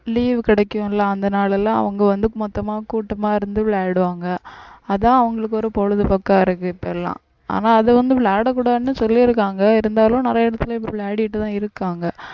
leave கிடைக்கும் இல்ல அந்த நாளெல்லாம் அவங்க வந்து மொத்தமா கூட்டமா இருந்து விளையாடுவாங்க, அதான் அவங்களுக்கு ஒரு பொழுதுபோக்கா இருக்கு இப்ப எல்லாம் ஆனா அதை வந்து விளையாடக்கூடாதுன்னு சொல்லியிருக்காங்க இருந்தாலும் நிறைய இடத்துல இப்ப விளையாடிட்டுதான் இருக்காங்க